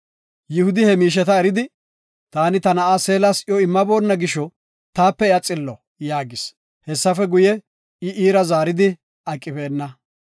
Yihudi he miisheta eridi, “Taani ta na7aa Seelas iyo immaboonna gisho, taape iya xillo” yaagis. Hessafe guye, I iira zaaridi aqibeenna.